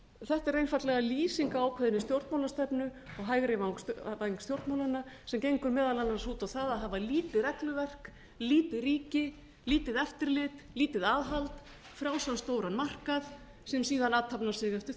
þetta er einfaldlega lýsing á ákveðinni stjórnmálastefnu á hægri væng stjórnmálanna sem gengur meðal annars út á það að hafa lítið regluverk lítið ríki lítið eftirlit lítið aðhald frjálsan stóran markað sem síðar athafnar sig